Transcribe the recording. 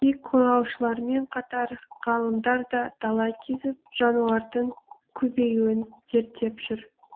киік қорғаушылармен қатар ғалымдар да дала кезіп жануардың көбеюін зерттеп жүр